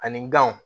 Ani ganw